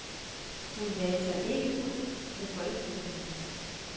Hun lagde sig ikke ud med folkestemningen.